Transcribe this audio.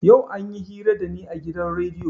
Yau anyi hira da ni a gidan rediyo.